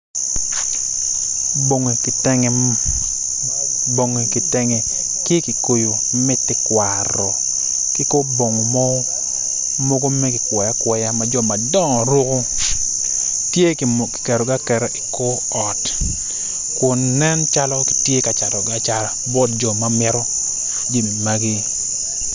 Bongi kitenge ki kikoyo me tekwaro ki kor bongo mogo makikwoyo akwoya ma jo madongo ruko tye kiketo gi aketa ikor ot kun nen calo kitye kacatogi acata bot jo mamito jami magi.